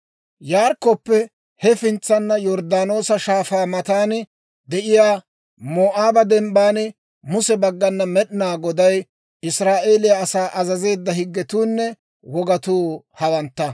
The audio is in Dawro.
Yarikkoppe hefintsana, Yorddaanoosa Shaafaa matan de'iyaa Moo'aaba Dembban Muse baggana Med'inaa Goday Israa'eeliyaa asaa azazeedda higgetuunne wogatuu hawantta.